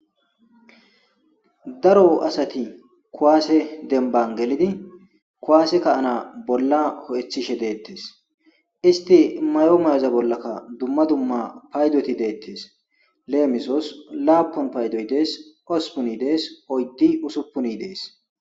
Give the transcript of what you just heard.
Daro asati kuwase demba gelidi kuwase ka'anaas bolla ho'ethishe deetees. Isti mayo mayoza bollaka dumma dumma paydoti deetees. Leemisos;laapun paydoy dees. Hosppun paydoy dees. Oydi, usupuni dees.